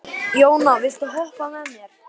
Jóna, viltu hoppa með mér?